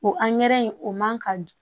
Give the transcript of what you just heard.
O angɛrɛ in o man ka